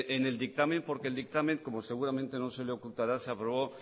en el dictamen porque el dictamen como seguramente no se le ocultará se habló